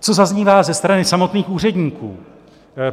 Co zaznívá ze strany samotných úředníků?